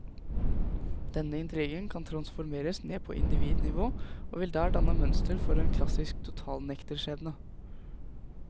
Denne intrigen kan transformeres ned på individnivå og vil der danne mønster for en klassisk totalnekterskjebne.